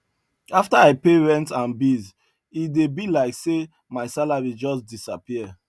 after i pay rent and bills e dey be like say my salary just disappear